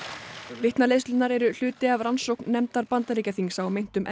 vitnaleiðslurnar eru hluti af rannsókn nefndar Bandaríkjaþings á meintum